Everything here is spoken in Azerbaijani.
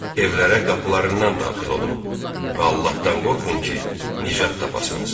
Evlərə qapılarından daxil olun və Allahdan qorxun ki, nicat tapasınız.